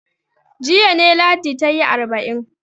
Jiya ne Ladi ta yi arba'in.